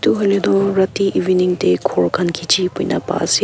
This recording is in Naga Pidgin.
hoile toh rati evening de ghor khan khichi buhi na pai ase.